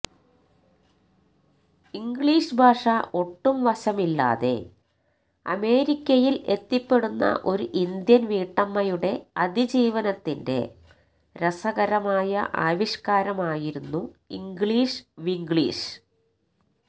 English ഭാഷ ഒട്ടും വശമില്ലാതെ അമേരിക്കയില് എത്തിപ്പെടുന്ന ഒരു ഇന്ത്യന് വീട്ടമ്മയുടെ അതിജീവനത്തിന്റെ രസകരമായ ആവിഷ്കാരമായിരുന്നു ഇംഗ്ലീഷ് വിംഗ്ലീഷ്